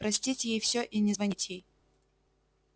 простить ей всё и не звонить ей